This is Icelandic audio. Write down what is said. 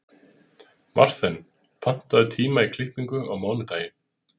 Marthen, pantaðu tíma í klippingu á mánudaginn.